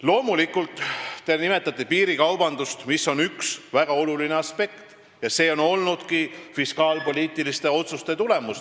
Loomulikult te nimetate piirikaubandust, mis on üks väga oluline aspekt ja mis on olnudki koalitsiooni fiskaalpoliitiliste otsuste tagajärg.